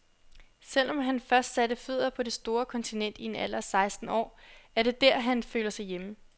Selv om han først satte fødder på det store kontinent i en alder af seksten år, er det der, han føler sig hjemme.